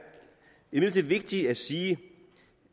imidlertid vigtigt at sige